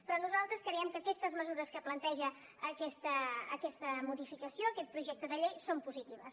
però nosaltres creiem que aquestes mesures que planteja aquesta modificació aquest projecte de llei són positives